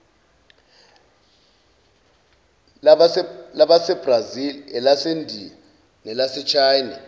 lasebrazil elasendiya nelasechina